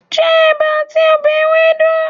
Je Eba ati obe Ewedu